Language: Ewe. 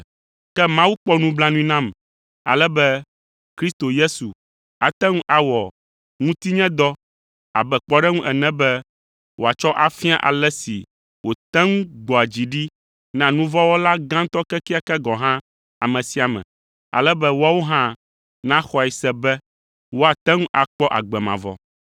Ke Mawu kpɔ nublanui nam ale be Kristo Yesu ate ŋu awɔ ŋutinyedɔ abe kpɔɖeŋu ene be wòatsɔ afia ale si wòte ŋu gbɔa dzi ɖi na nu vɔ̃ wɔla gãtɔ kekeake gɔ̃ hã ame sia ame, ale be woawo hã naxɔe se be woate ŋu akpɔ agbe mavɔ.